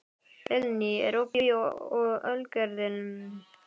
Vilný, er opið í Ölgerðinni?